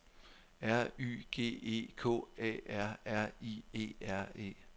R Y G E K A R R I E R E